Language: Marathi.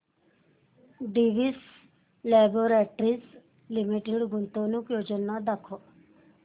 डिवीस लॅबोरेटरीज लिमिटेड गुंतवणूक योजना दाखव